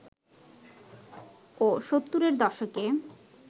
ও ৭০-এর দশকে